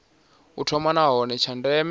u thoma nahone tsha ndeme